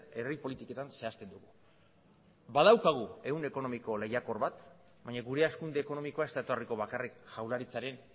herri politiketan zehazten dugu badaukagu ehun ekonomiko lehiakor bat baina gure hazkunde ekonomikoa ez da etorriko bakarrik jaurlaritzaren